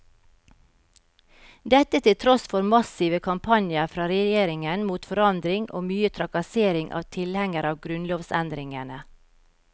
Dette til tross for massive kampanjer fra regjeringen mot forandring og mye trakassering av tilhengerne av grunnlovsendringene.